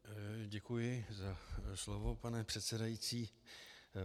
Děkuji za slovo, pane předsedající.